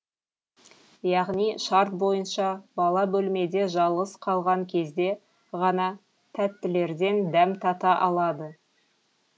яғни шарт бойынша бала бөлмеде жалғыз қалған кезде ғана тәттілерден дәм тата алады